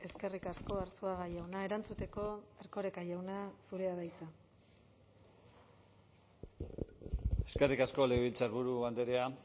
eskerrik asko arzuaga jauna erantzuteko erkoreka jauna zurea da hitza eskerrik asko legebiltzarburu andrea